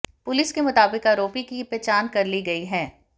police के मुताबिक आरोपी की पहचान कर ली गई है